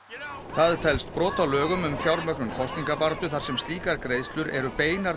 það telst brot á lögum um fjármögnun kosningabaráttu þar sem slíkar greiðslur eru beinar